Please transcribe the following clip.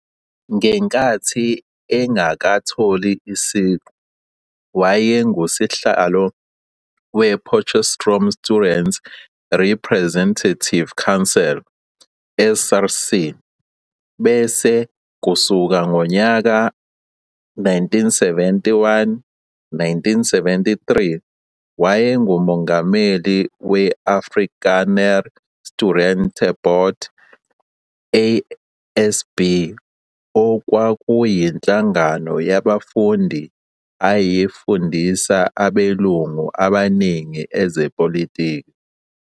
Ngenkathi engakatholi isiqu wayengusihlalo we Potchefstroom's Students' Representative Council, SRC, bese kusuka ngonyaka 1971-1973 wayengumongameli we-"Afrikaner Studentebond", ASB, okwakuyinhlangano yabafundi eyafundisa abelungu abaningi ezepolitiki.